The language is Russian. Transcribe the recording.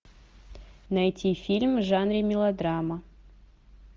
найти фильм в жанре мелодрама